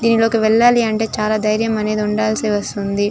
దీనిలోనికి వెళ్ళాలి అంటే చాలా ధైర్యం అనేది ఉండాల్సి వస్తుంది.